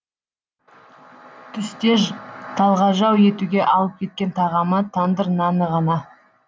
түсте талғажау етуге алып кеткен тағамы тандыр наны ғана